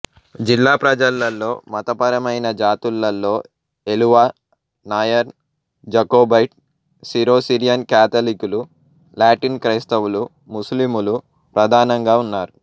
జిల్లా ప్రజలలో మతపరమైన జాతులలో Ezhava Nair Jacobite Syro Syrian కాథలిక్కులు లాటిన్ క్రైస్తవులు ముస్లిములు ప్రధానంగా ఉన్నారు